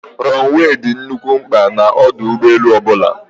Rọnụwee dị nnukwu mkpa n'ọdụ ụgbọelu ọbụla.